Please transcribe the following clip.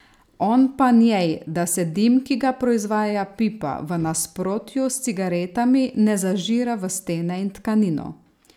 On pa njej, da se dim, ki ga proizvaja pipa, v nasprotju s cigaretami ne zažira v stene in tkanino.